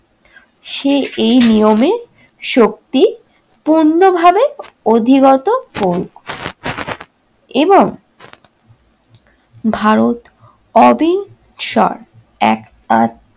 সে এই নিয়মে শক্তি পূর্ণভাবে অধিগত করুক। এবং ভারত অবিচর এক-আধ